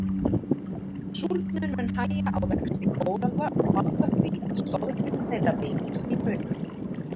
Súrnun mun hægja á vexti kóralla og valda því að stoðgrind þeirra veikist til muna.